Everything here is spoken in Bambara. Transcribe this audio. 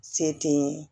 Se tɛ n ye